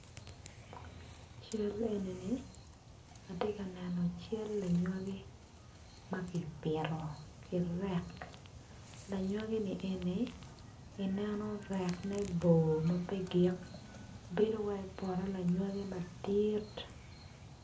Cal enini atye ka neno cal lanywagi ma kipito ki rek lanywagini eni ineno rekne bor ma pe gik bedo calo poto madit.